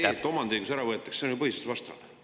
… aga see, et omandiõigus ära võetakse, on ju põhiseadusvastane.